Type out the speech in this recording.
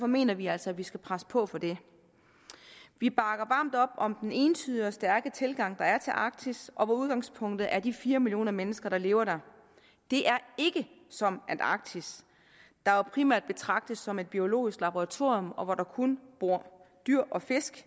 mener vi altså at vi skal presse på for det vi bakker varmt op om den ensidige og stærke tilgang der er til arktis og hvor udgangspunktet er de fire millioner mennesker der lever der det er ikke som antarktis der jo primært betragtes som et biologisk laboratorium og hvor der kun bor dyr og fisk